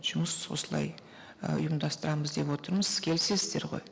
жұмыс осылай і ұйымдастырамыз деп отырмыз келісесіздер ғой